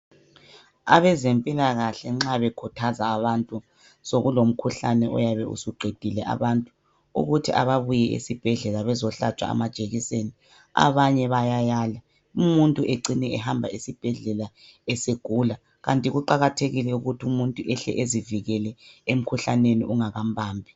Abezempilakahle nxa bekhuthaza abantu sokulomkhuhlane oyabe usuqedile abantu ukuthi ababuye esibhedlela bazohlatshwa amajekiseni abanye bayayala umuntu ecine ehamba esibhedlela esegula. Kanti kuqakathekile ukuthi umuntu ehlezi ezivikele emkhuhlane ungakambambi.